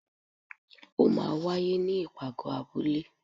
o maa wàyé ní ipágọ abúle